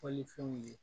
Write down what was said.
Fɔlifɛnw ye